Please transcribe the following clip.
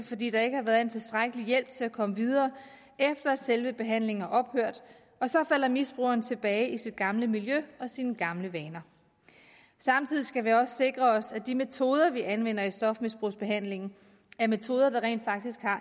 fordi der ikke har været en tilstrækkelig hjælp til at komme videre efter at selve behandlingen er ophørt og så falder misbrugeren tilbage i sit gamle miljø og sine gamle vaner samtidig skal vi også sikre os at de metoder vi anvender i stofmisbrugsbehandlingen er metoder der rent faktisk har